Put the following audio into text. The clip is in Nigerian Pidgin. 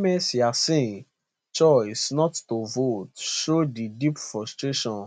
ms yassin choice not to vote show di deep frustration